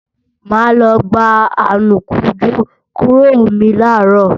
Mà á lọ gba anùkunjú kúrò mi làárọ̀